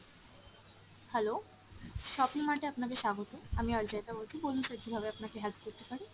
hello, shopping mart এ আপনাদের স্বাগত, আমি অর্জয়িতা বলছি, বলুন sir কীভাবে আপনাকে help করতে পারি?